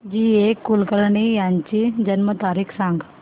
जी A Kulkarni यांची जन्म तारीख सांग